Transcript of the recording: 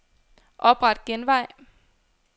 Opret genvej.